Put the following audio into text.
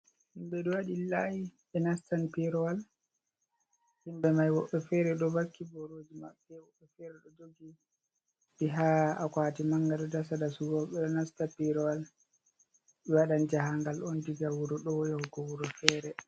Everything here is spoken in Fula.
Himɓe ɗo waɗi layi ɓe nastan pirawal, himɓe mai woɓɓe fere ɗo vakki boroji maɓɓe, woɓɓe fere ɗo jogi bi ha akwati mangal ɗo dasa dasugo, ɓe ɗo nasta pirawal ɓe waɗan jahagal on diga wuro ɗo yahugo wuro fere.